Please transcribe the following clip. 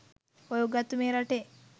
ඔය උගත්තු මේ රටේ